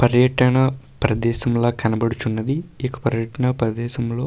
పర్యటన ప్రదేశంలా కనబడుచున్నది. ఈ పర్యటన ప్రదేశంలో --